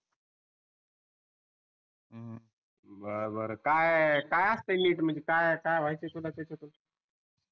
वाह बर काय काय असते NEET म्हणजे काय काय व्हायचय तुला त्याच्यातून